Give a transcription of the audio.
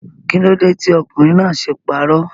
Kílódé tí ọkùnrin náà ṣe parọ́?